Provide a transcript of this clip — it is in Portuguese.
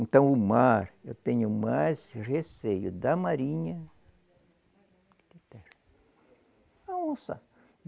Então, o mar, eu tenho mais receio da marinha a onça.